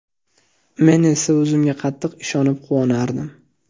Men esa o‘zimga qattiq ishonib, quvonardim.